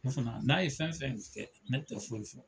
Ne fana n'a ye fɛn fɛn kɛ ne tɛ foyi fɔ.